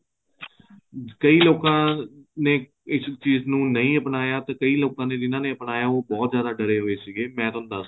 ਕਈ ਲੋਕਾਂ ਨੇ ਇਸ ਚੀਜ਼ ਨੂੰ ਨਹੀਂ ਅਪਣਾਇਆ ਤੇ ਕਈ ਲੋਕਾਂ ਜਿਹਨਾ ਨੇ ਅਪਣਾਇਆ ਉਹ ਬਹੁਤ ਜਿਆਦਾ ਡਰੇ ਹੋਏ ਸੀਗੇ ਮੈਂ ਤੁਹਾਨੂੰ ਦੱਸਦਾ